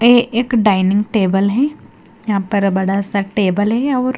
ये एक dining table है यहां पर बड़ा सा टेबल है और--